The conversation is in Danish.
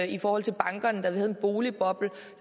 i forhold til bankerne da vi havde en boligboble